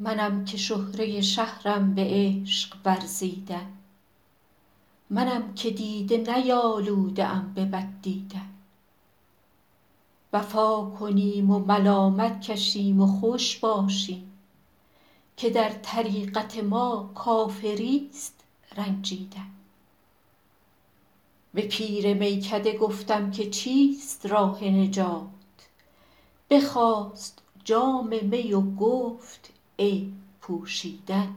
منم که شهره شهرم به عشق ورزیدن منم که دیده نیالوده ام به بد دیدن وفا کنیم و ملامت کشیم و خوش باشیم که در طریقت ما کافریست رنجیدن به پیر میکده گفتم که چیست راه نجات بخواست جام می و گفت عیب پوشیدن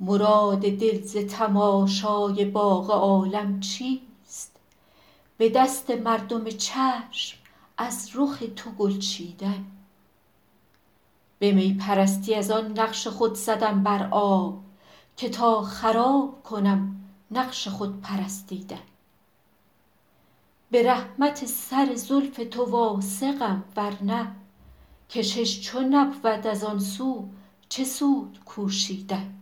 مراد دل ز تماشای باغ عالم چیست به دست مردم چشم از رخ تو گل چیدن به می پرستی از آن نقش خود زدم بر آب که تا خراب کنم نقش خود پرستیدن به رحمت سر زلف تو واثقم ورنه کشش چو نبود از آن سو چه سود کوشیدن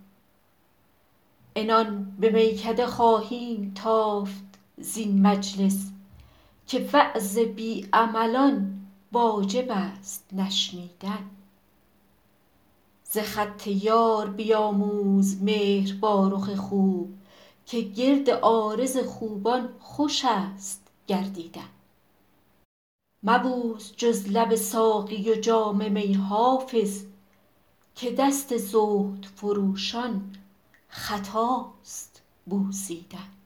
عنان به میکده خواهیم تافت زین مجلس که وعظ بی عملان واجب است نشنیدن ز خط یار بیاموز مهر با رخ خوب که گرد عارض خوبان خوش است گردیدن مبوس جز لب ساقی و جام می حافظ که دست زهد فروشان خطاست بوسیدن